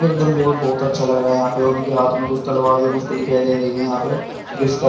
एकदम बहुत अच्छा लग रहा है यहाँ पे उनके हाथ में कुछ तलवार भी मुझको दिखाई दे रही है यहाँ पे --